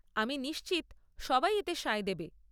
আমি নিশ্চিত, সবাই এতে সায় দেবে।